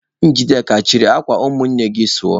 Njideka, chịrị akwa ụmụnne gị sụọ!